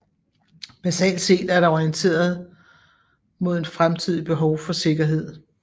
Basalt set er det orienteret mod en fremtidigt behov for sikkerhed